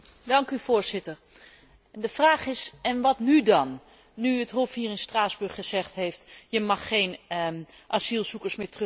De vraag is en wat nu dan, nu het Hof hier in Straatsburg gezegd heeft je mag geen asielzoekers meer terugsturen naar Griekenland.